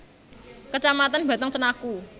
Kecamatan Batang Cenaku